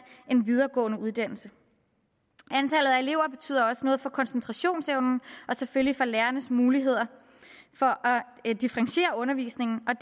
en videregående uddannelse antallet af elever betyder også noget for koncentrationsevnen og selvfølgelig for lærernes muligheder for at differentiere undervisningen og